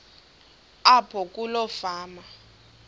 apho kuloo fama